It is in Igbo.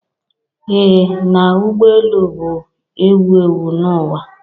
Ee na ụgbọ elu bụ ewu ewu n'ụwa.